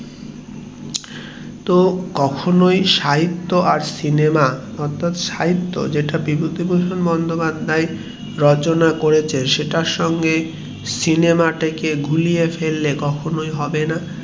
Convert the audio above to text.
তো কখনোই সাহিত্য আর সিনেমা অর্থাৎ সাহিত্য যেটা বিভূতিভূষণ বন্দোপাধ্যায় যেটা রচনা করেছেন সেটা কে সিনেমা তাকে গুলিয়ে ফেললে কখনোই হবে না